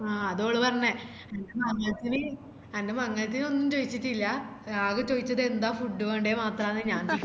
ആഹ് അത ഓള് പറഞ്ഞെ അന്റെ മംഗലത്തിന് അന്റെ മംഗലത്തിന് ഒന്നും ചോയിച്ചിറ്റില്ല ആകെ ചോയിച്ചത് എന്താ food വേണ്ടേ മാത്രാന്ന് ഞാൻ